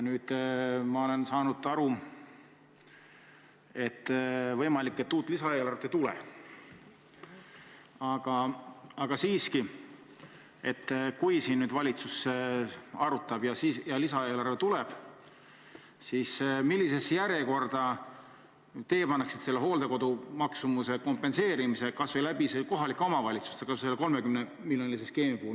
Ma olen aru saanud, et uut lisaeelarvet ei pruugi tulla, aga siiski: kui valitsus seda nüüd arutab ja lisaeelarve tuleb, siis millisesse järjekorda teie paneksite selle hooldekodu maksumuse kompenseerimise, kas või läbi kohalike omavalitsuste, ka selle 30-miljonilise skeemi puhul?